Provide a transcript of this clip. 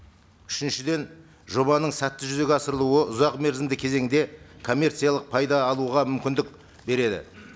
үшіншіден жобаның сәтті жүзеге асырылуы ұзақ мерзімді кезеңде коммерциялық пайда алуға мүмкіндік береді